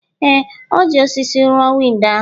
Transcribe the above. Ee, e ji osisi rụọ windo ahụ